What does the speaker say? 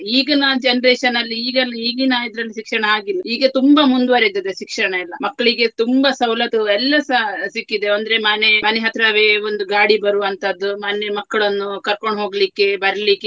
ಈಗಿನ generation ಅಲ್ಲಿ ಈಗನ್~ ಈಗಿನ ಇದ್ರಲ್ಲಿ ಶಿಕ್ಷಣ ಹಾಗಿಲ್ಲ ಈಗ ತುಂಬಾ ಮುಂದುವರಿದಿದೆ ಶಿಕ್ಷಣ ಎಲ್ಲ. ಮಕ್ಕಳಿಗೆ ತುಂಬಾ ಸವಲತ್ತು ಎಲ್ಲಸ ಸಿಕ್ಕಿದೆ ಅಂದ್ರೆ ಮನೆ ಮನೆ ಹತ್ರವೇ ಒಂದು ಗಾಡಿ ಬರುವಂತಹದ್ದು, ಮನೆ ಮಕ್ಳನ್ನು ಕರ್ಕೊಂಡು ಹೋಗ್ಲಿಕ್ಕೆ ಬರ್ಲಿಕ್ಕೆ.